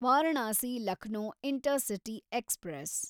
Varanasi Lucknow intercity express